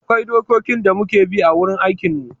Akwai dokokin da muke bi a wurin aikin mu